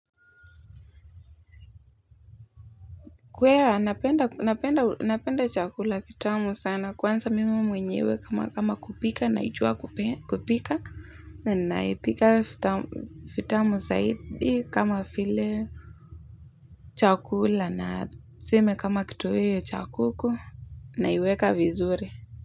Kweli napenda napenda napenda chakula kitamu sana kwanza mimi mwenyewe kama kama kupika naijua kupika na naipika vitamu zaidi kama vile chakula na tuseme kama kitoweo cha kuku naiweka vizuri.